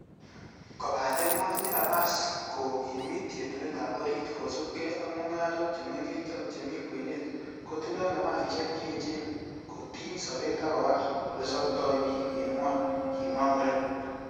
'Kobaten motinye napas, koogimit yetunetab orit, kosiibge ak mungarok che mengech ak chemi kwenet kotindoi napasisiek che echen kotiny sobet ak kowal ele sobtoi bik en gwony,''kimwa muren